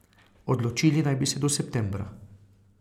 Odločili naj bi se do septembra.